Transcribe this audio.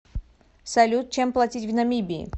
салют чем платить в намибии